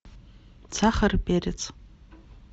сахар и перец